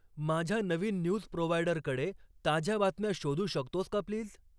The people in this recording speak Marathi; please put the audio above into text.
माझ्या नवीन न्यूज प्रोवायडर कडे ताज्या बातम्या शोधू शकतोस का प्लीज ?